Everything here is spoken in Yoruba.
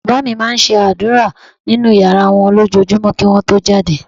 Bàbá mi máa ń ṣàdúrà nínú yàrá wọn lójoojúmọ́ kí wọ́n tó jáde